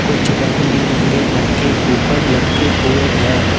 कुछ रंग बिरंगे मटके ऊपर लटके हुए है।